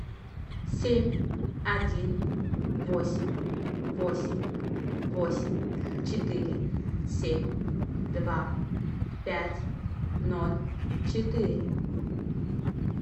семь один восемь восемь восемь четыре семь два пять ноль четыре